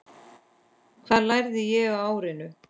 Hvað lærði ég á árinu?